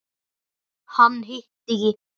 Hann hitti ekki.